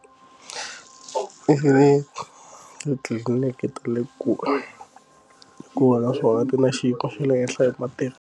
I vi titliliniki ta le kule hikuva naswona ti na xinkwa xa le henhla hi mitirho.